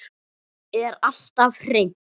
Er alltaf hrein.